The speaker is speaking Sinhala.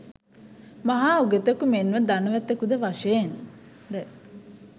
මහා උගතෙකු, මෙන්ම ධනවතෙකුද වශයෙන් ද